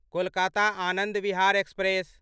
Kolkata Anand Vihar express